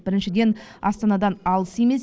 біріншіден астанадан алыс емес